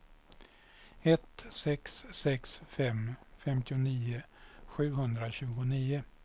ett sex sex fem femtionio sjuhundratjugonio